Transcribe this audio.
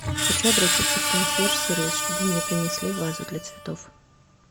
хочу обратиться в консьерж сервис чтобы мне принесли вазу для цветов